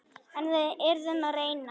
En við yrðum að reyna.